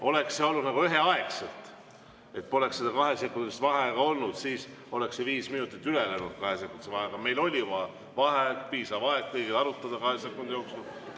Oleks seda tehtud üheaegselt, kui poleks seda kahesekundilist vaheaega olnud, siis oleks see viis minutit läinud üle kahesekundilisse vaheaega, aga meil oli vaheaeg, piisavalt oli kõigil aega arutada kahe sekundi jooksul.